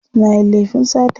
Suna yin laifin sata.